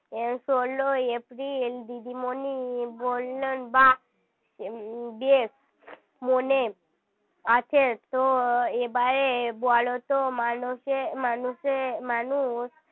ষোলোই এপ্রিল দিদিমণি বললেন বাহ্ বেশ মনে আছে তো এবারে বলো তো মানুষে মানুষে মানুষ